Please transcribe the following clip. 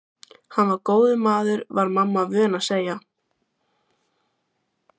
Hann var góður maður var mamma vön að segja.